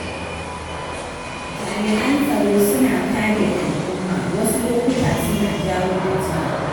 Jami'an tsaro suna kare al'umma wasu lokuta suna jawo fitina.